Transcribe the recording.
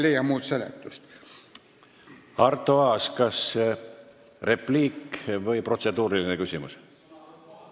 Arto Aas, kas repliik või protseduuriline küsimus?